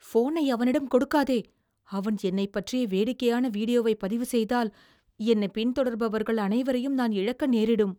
ஃபோனை அவனிடம் கொடுக்காதே. அவன் என்னைப் பற்றிய வேடிக்கையான வீடியோவைப் பதிவுசெய்தால், என்னைப் பின்தொடர்பவர்கள் அனைவரையும் நான் இழக்க நேரிடும்.